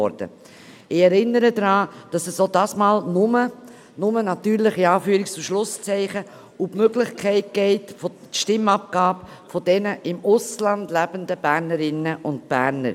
Ich erinnere daran, dass es auch diesmal «nur» um die Möglichkeit der Stimmabgabe von Bernerinnen und Bernern geht, die im Ausland leben.